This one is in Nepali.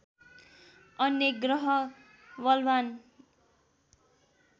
अन्य ग्रह बलवान्